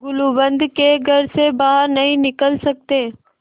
गुलूबंद के घर से बाहर नहीं निकल सकते